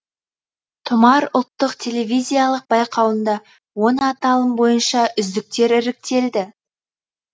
тұмар ұлттық телевизиялық байқауында он аталым бойынша үздіктер іріктелді